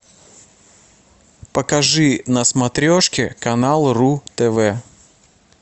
покажи на смотрешке канал ру тв